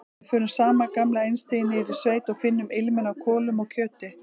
Við förum sama gamla einstigið niður í sveit og finnum ilminn af kolum og kjöti.